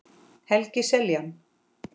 Helgi Seljan